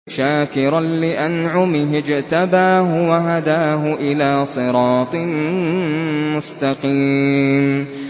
شَاكِرًا لِّأَنْعُمِهِ ۚ اجْتَبَاهُ وَهَدَاهُ إِلَىٰ صِرَاطٍ مُّسْتَقِيمٍ